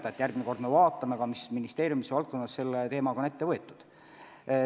Vahest me järgmine kord vaatame, mis ministeeriumides selles suunas on ette võetud.